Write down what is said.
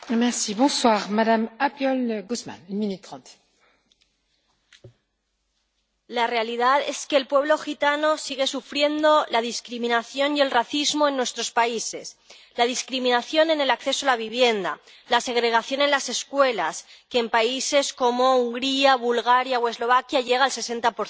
Señora presidenta, la realidad es que el pueblo gitano sigue sufriendo la discriminación y el racismo en nuestros países, la discriminación en el acceso a la vivienda, la segregación en las escuelas —que en países como Hungría, Bulgaria o Eslovaquia llega al 60